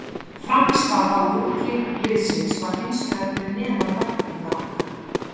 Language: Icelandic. Frammistaða og úrslit liðsins er hins vegar fyrir neðan væntingar okkar.